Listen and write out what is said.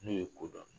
N'o ye kodɔn